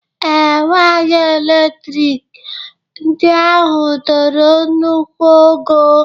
Ee, waya elektrik ndị ahụ toro nnukwu ogo